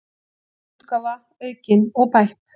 Önnur útgáfa, aukin og bætt.